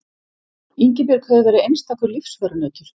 Ingibjörg hefur verið einstakur lífsförunautur.